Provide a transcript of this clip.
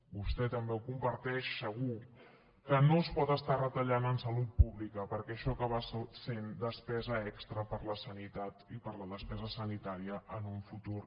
vostè també ho comparteix segur que no es pot estar retallant en salut pública perquè això acaba sent despesa extra per a la sanitat i per a la despesa sanitària en el futur